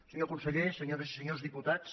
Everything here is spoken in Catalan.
senyor conseller senyores i senyors diputats